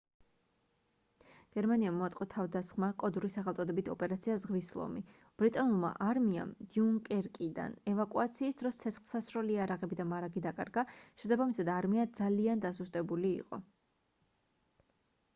გერმანიამ მოაწყო თავდასხმა კოდური სახელწოდებით ოპერაცია ზღვის ლომი ბრიტანულმა არმიამ დიუნკერკიდან ევაკუაციის დროს ცეცხლსასროლი იარაღები და მარაგი დაკარგა შესაბამისად არმია ძალიან დასუსტებული იყო